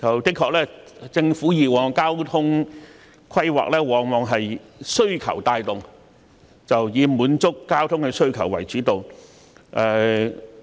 的確，政府的交通規劃往往是需求帶動，以滿足交通的需求為主導。